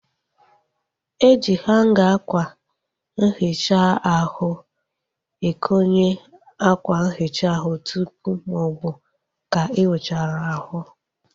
E ji hanga akwa nhicha ahu ekonye akwa nhicha ahụ tụpụ maọbụ ka ị wuchara ahu